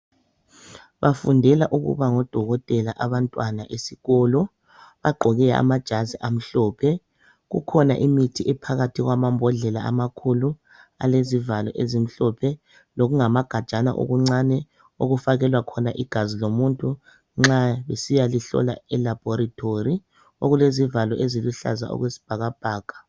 Bafundela ukuba ngodokotela abantwana besikolo. Bagqoke amajazi amhlophe. Kukhona imithi ephakathi kwamambodlela amakhulu alezivalo ezimhlophe lokungamagajana okuncane okufakelwa khona igazi lomuntu nxa besiyalihlola elabhorithori, okulezivalo eziluhlaza okwesibhakabhaka